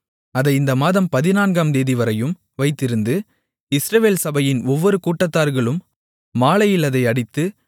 அதை இந்த மாதம் பதினான்காம்தேதிவரையும் வைத்திருந்து இஸ்ரவேல் சபையின் ஒவ்வொரு கூட்டத்தார்களும் மாலையில் அதை அடித்து